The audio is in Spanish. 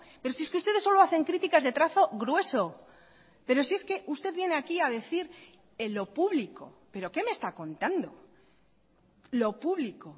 pero si es que ustedes solo hacen críticas de trazo grueso pero si es que usted viene aquí a decir en lo público pero qué me está contando lo público